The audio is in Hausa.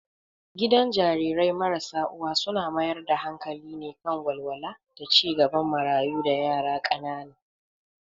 Gidan Jarirai marasa uwa suna mayar da hankali ne kan walwala da ci gaban marayu da yara ƙanana.